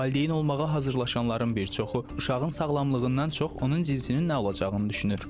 Valideyn olmağa hazırlaşanların bir çoxu uşağın sağlamlığından çox onun cinsinin nə olacağını düşünür.